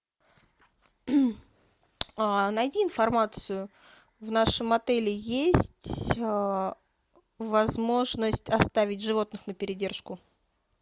найди информацию в нашем отеле есть возможность оставить животных на передержку